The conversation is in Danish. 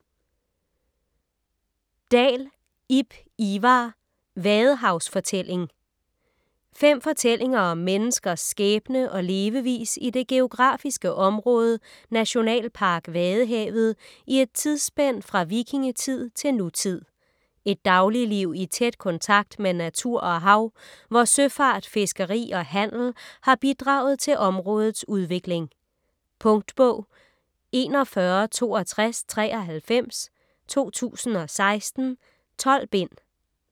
Dahl, Ib Ivar: Vadehavsfortælling Fem fortællinger om menneskers skæbne og levevis i det geografiske område Nationalpark Vadehavet i et tidsspænd fra vikingetid til nutid. Et dagligliv i tæt kontakt med natur og hav, hvor søfart, fiskeri og handel har bidraget til områdets udvikling. Punktbog 416293 2016. 12 bind.